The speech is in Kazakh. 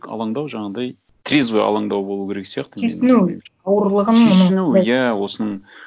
алаңдау жаңағындай трезвый алаңдау болу керек сияқты түйсіну ауырлығын түйсіну иә осының